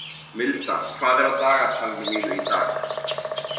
Milda, hvað er á dagatalinu mínu í dag?